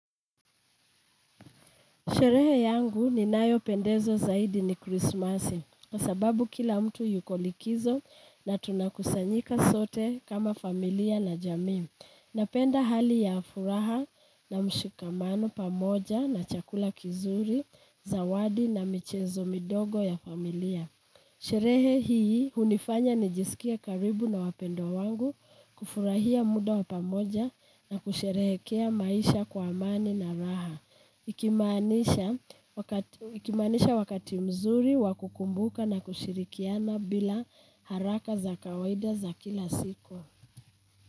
Sherehe yangu ninayopendezo zaidi ni Krismasi. Kwa sababu kila mtu yuko likizo na tunakusanyika sote kama familia na jamii napenda hali ya furaha na mshikamano pamoja na chakula kizuri, zawadi na michezo midogo ya familia. Sherehe hii unifanya nijisikia karibu na wapendwa wangu kufurahia muda wa pamoja na kusherehekea maisha kwa amani na raha. Ikimanisha wakati mzuri wakukumbuka na kushirikiana bila haraka za kawaida za kila siku.